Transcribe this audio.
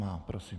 Má, prosím.